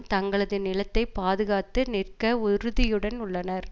தங்களது நிலத்தை பாதுகாத்து நிற்க உறுதியுடன் உள்ளனர்